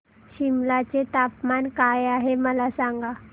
सिमला चे तापमान काय आहे मला सांगा